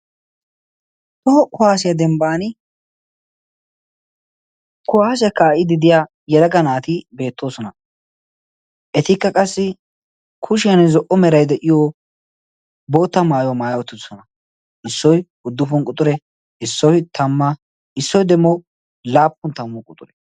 too ku haasiyaa dembban kuwaashe kaa77ididiya yedaga naati beettoosona etikka qassi kushiyan zo77o merai de7iyo bootta maayuwaa maayi uttidisona issoi guddufun quxure isoi tamma issoi demo laappun tammu quxure